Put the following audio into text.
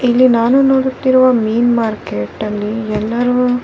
ಇಲ್ಲಿ ನಾನು ನೋಡುತ್ತಿರುವ ಮೀನ್ ಮಾರ್ಕೆಟ್ ಅಲ್ಲಿಎಲ್ಲರು --